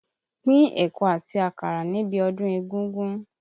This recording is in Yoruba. Pín ẹ̀kọ àti àkàrà níbi ọdún égúngún!